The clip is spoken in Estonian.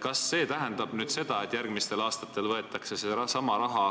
Kas see tähendab, et järgmistel aastatel võetakse seesama raha